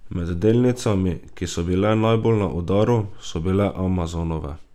Med delnicami, ki so bile najbolj na udaru, so bile Amazonove.